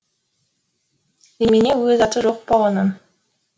немене өз аты жоқ па оның